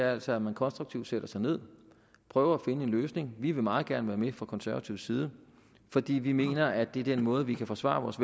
er altså at man konstruktivt sætter sig ned og prøver at finde en løsning vi vil meget gerne være med fra konservativ side fordi vi mener at det er den måde vi kan forsvare vores